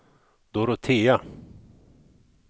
Dorotea